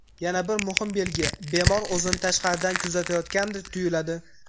Yana bir muhim belgi, bemor o‘zini tashqaridan kuzatayotgandek tuyiladi.